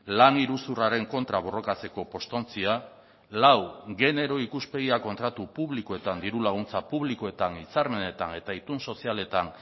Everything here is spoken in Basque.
lan iruzurraren kontra borrokatzeko postontzia lau genero ikuspegia kontratu publikoetan diru laguntza publikoetan hitzarmenetan eta itun sozialetan